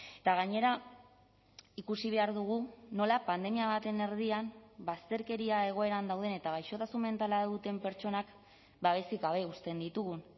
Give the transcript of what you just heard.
eta gainera ikusi behar dugu nola pandemia baten erdian bazterkeria egoeran dauden eta gaixotasun mentala duten pertsonak babesik gabe uzten ditugun